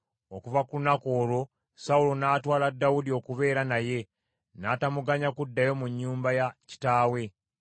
Okuva ku lunaku olwo Sawulo n’atwala Dawudi okubeera naye, n’atamuganya kuddayo mu nnyumba ya kitaawe.